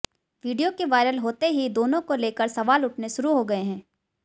video के viral होते ही दोनों को लेकर सवाल उठने शुरू हो गएं हैं